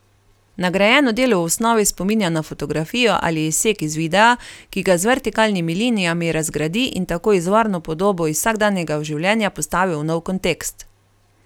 Nagrajeno delo v osnovi spominja na fotografijo ali izsek iz videa, ki ga z vertikalnimi linijami razgradi in tako izvorno podobo iz vsakdanjega življenja postavi v nov kontekst.